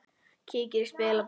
Kíkir í spegil á baðinu.